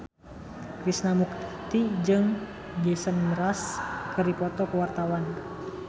Krishna Mukti jeung Jason Mraz keur dipoto ku wartawan